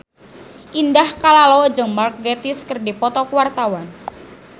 Indah Kalalo jeung Mark Gatiss keur dipoto ku wartawan